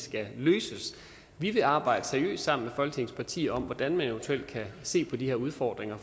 skal løses vi vil arbejde seriøst sammen med folketingets partier om hvordan man eventuelt kan se på de her udfordringer